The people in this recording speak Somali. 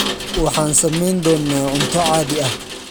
Waxaan samayn doonaa cunto caadi ah.